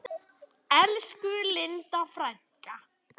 Elsku Linda frænka.